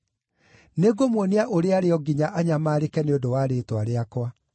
Nĩngũmuonia ũrĩa arĩ o nginya anyamaarĩke nĩ ũndũ wa rĩĩtwa rĩakwa.”